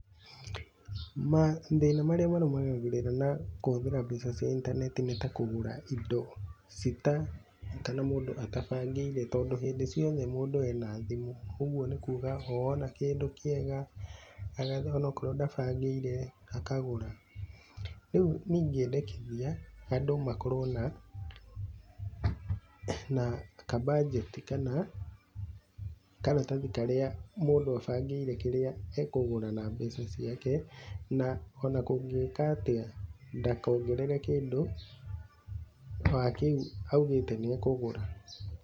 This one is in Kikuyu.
Mathĩna marĩa marũmanagĩrĩra na kũhũthĩra mbeca cia intaneti nĩ ta kũgũra indo citabangĩirwo, kana mũndũ atabangĩire, tondũ hindi ciothe mũndũ ena thimũ ũguo nĩ kũga o ona kĩndũ kĩega agathiĩ onokorwo ndabagĩire akagũra, rĩu niĩ ingĩendekĩthia andũ makorwo na kabanjeti kana, karatathi karĩa mũndũ abangĩire kĩrĩa akũgũra na mbeca ciake, na ona kũngĩka atia ndakongerere kĩndũ wa kĩu augĩte nĩ akũgũra.